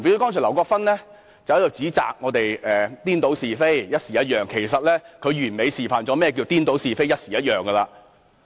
例如劉國勳議員剛才指責我們顛倒是非，"搖擺不定"，其實他完美地示範了何謂顛倒是非，"搖擺不定"。